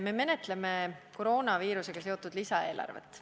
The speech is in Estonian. Me menetleme koroonaviirusega seotud lisaeelarvet.